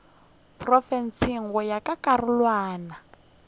profense go ya ka karolwana